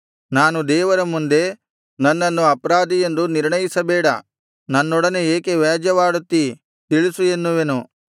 ನಾನು ದೇವರ ಮುಂದೆ ನನ್ನನ್ನು ಅಪರಾಧಿಯೆಂದು ನಿರ್ಣಯಿಸಬೇಡ ನನ್ನೊಡನೆ ಏಕೆ ವ್ಯಾಜ್ಯವಾಡುತ್ತೀ ತಿಳಿಸು ಎನ್ನುವೆನು